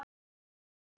Það eru örlög þetta!